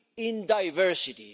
in diversity.